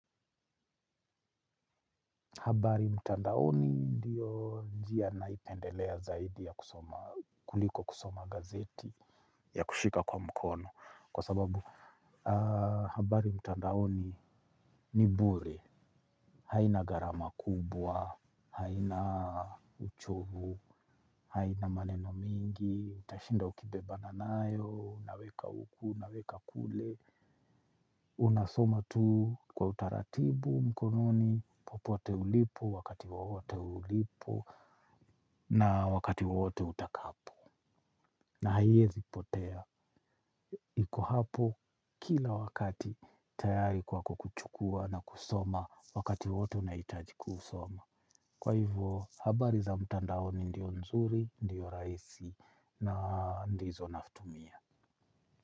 Habari mtandaoni ndio njia naipendelea zaidi ya kuliko kusoma gazeti ya kushika kwa mkono. Kwa sababu habari mtandaoni ni bure haina garama kubwa haina uchovu haina maneno mingi. Utashinda ukibebana nayo, naweka uku, naweka kule. Unasoma tu kwa utaratibu mkononi. Popote ulipo, wakati wawote ulipo na wakati wowote utaka hapo na haiezi potea. Iko hapo kila wakati tayari kwa kukuchukua na kusoma. Wakati wowote unaitaji kusoma. Kwa hivyo, habari za mtandahoni ndio nzuri, ndio raisi na ndizo naftumia.